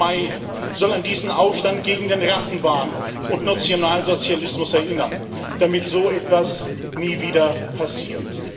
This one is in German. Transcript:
16. Mai soll an diesen Aufstand gegen den Rassenwahn und Nationalsozialismus erinnern, damit so etwas nie wieder passiert.